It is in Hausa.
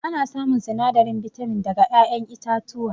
Ana samun sinadarin bitamin daga ƴaƴen itatuwa